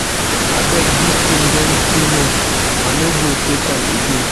Abeg dis thing don too much,I no go take am again.